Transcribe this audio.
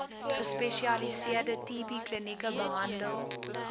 gespesialiseerde tbklinieke behandel